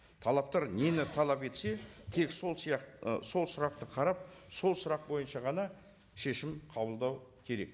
талаптар нені талап етсе тек сол ы сол сұрақты қарап сол сұрақ бойынша ғана шешім қабылдау керек